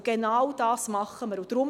Und genau das tun wir.